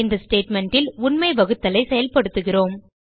இந்த statementல் உண்மை வகுத்தலை செயல்படுத்துகிறோம்